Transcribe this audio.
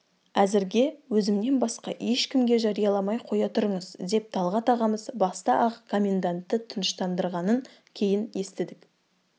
әзірге өзімнен басқа ешкімге жарияламай қоя тұрыңыз деп талғат ағамыз баста-ақ коммендантты тыныштандырғанын кейін естідік